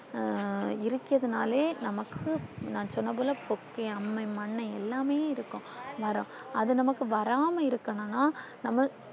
அஹ் இருக்கதே நாளே நமக்கு நான் சொன்ன பொது போக்கை அம்மை மன்னன் எல்லாம்மே இருக்கும் மரம் அது நமக்கு வராம இருக்குனுன்னா நம்ம